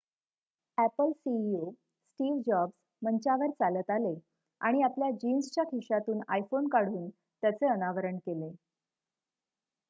Apple CEO Steve Jobs मंचावर चालत आले आणि आपल्या जिन्सच्या खिशातून आयफोन काढून त्याचे अनावरण केले